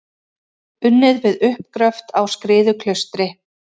Unnið við uppgröft á Skriðuklaustri.